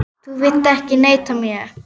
Þú vilt ekki neita mér.